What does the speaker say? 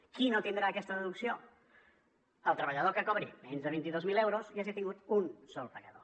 qui no tindrà aquesta deducció el treballador que cobri menys de vint dos mil euros i hagi tingut un sol pagador